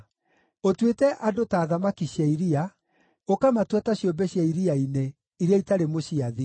Ũtuĩte andũ ta thamaki cia iria, ũkamatua ta ciũmbe cia iria-inĩ, iria itarĩ mũciathi.